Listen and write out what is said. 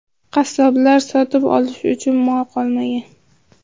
Qassoblar sotib olishi uchun mol qolmagan.